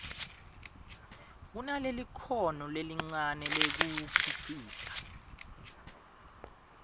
kunalelikhono lelincane lekuwukhicita